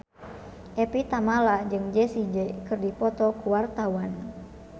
Evie Tamala jeung Jessie J keur dipoto ku wartawan